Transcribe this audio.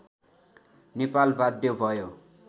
नेपाल बाध्य भयो